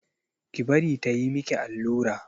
Ki bari ta yi miki allura!